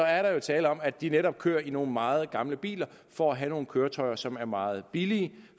er der jo tale om at de bilister netop kører i nogle meget gamle biler for at have nogle køretøjer som er meget billige